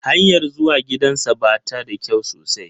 Hanyar zuwa gidansa ba ta da kyau sosai